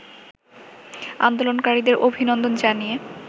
আন্দোলনকারীদের অভিনন্দন জানিয়ে